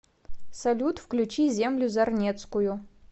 салют включи землю зарнецкую